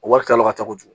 Wari kala ka ca kojugu